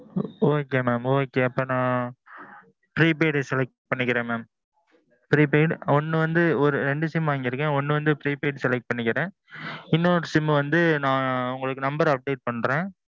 okay mam okay. அப்போ நான். prepaid select பண்ணிக்கிறேன் mam. prepaid ஒன்னு வந்து, ஒரு ஈரெண்டு sim வாங்கிக்கிறேன் ஒன்னு வந்து prepaid select பண்ணிக்கிறேன். இன்னொரு சிம் வந்து நான் உங்களுக்கு number update பன்றேன்.